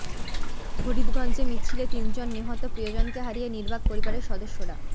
ফরিদগঞ্জে মিছিলে তিনজন নিহত প্রিয়জনকে হারিয়ে নির্বাক পরিবারের সদস্যরা